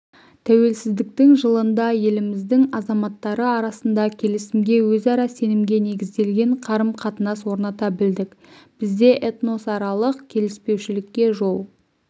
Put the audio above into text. тәуелсіздіктің жылында еліміздің азаматтары арасында келісімге өзара сенімге негізделген қарым-қатынас орната білдік бізде этносаралық келіспеушілікке жол